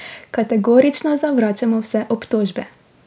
Kategorično zavračamo vse obtožbe.